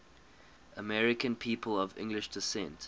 american people of english descent